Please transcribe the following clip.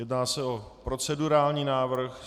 Jedná se o procedurální návrh.